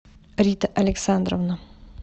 рита александровна